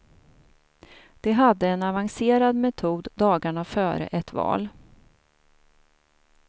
De hade en avancerad metod dagarna före ett val.